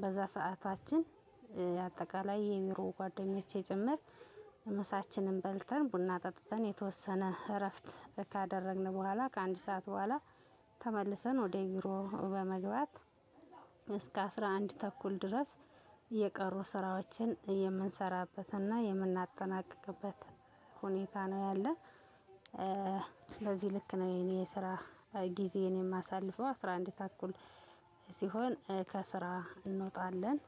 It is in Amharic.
በዛ ሰዓታችን የአጠቃላይ የቢሮ ጓደኞቼ ጭምር ምሳችንን በልተን ቡና ጠጥተን የተወሰነ እረፍት ካደረግን በኋላ ከአንድ ሰዓት በኋላ ተመልሰን ወደ ቢሮ በመግባት እስከ አስራ አንድ ተኩል ድረስ የቀሩ ስራዎችን የምንሰራበትና የምናጠናቀቅቤት ሁኔታ ነው ያለው። ስለዚህ ልክ ነው የኔ የስራ ጊዜ የማሳልፈው አስራ አንድ ተኩል ስሆን ከስራ እንወጣለን።